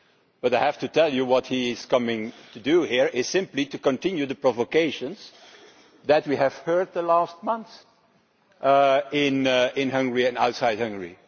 But I have to tell you that what he is coming to do here is simply to continue the provocations that we have heard these last months in Hungary and outside Hungary.